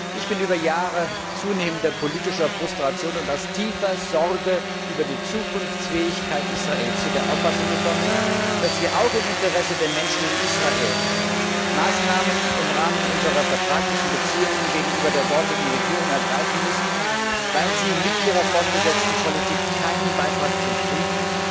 Ich bin über Jahre zunehmender politischer Frustration und aus tiefer Sorge über die Zukunftsfähigkeit Israels zu der Auffassung gekommen, dass wir auch im Interesse der Menschen in Israel im Rahmen unserer vertraglichen Beziehungen gegenüber der dortigen Regierung Maßnahmen ergreifen müssen, weil sie mit ihrer fortgesetzten Politik keinen Beitrag zum Frieden,